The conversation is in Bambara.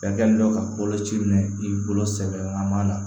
Fɛn kɛlen don ka boloci minɛ i bolo sɛbɛn man na